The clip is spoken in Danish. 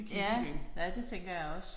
Ja ja det tænker jeg også